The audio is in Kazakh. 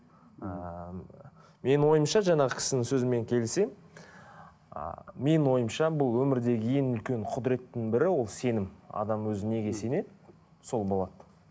ыыы менің ойымша жаңағы кісінің сөзімен келісемін ы менің ойымша бұл өмірде ең үлкен құдыреттің бірі ол сенім адам өзі неге сенеді сол болады